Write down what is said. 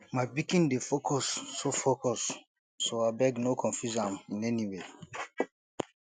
my pikin dey focused so focused so abeg no confuse am in any way